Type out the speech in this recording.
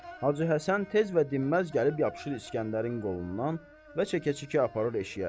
Hacı Həsən tez və dinməz gəlib yapışır İsgəndərin qolundan və çəkə-çəkə aparır eşiyə.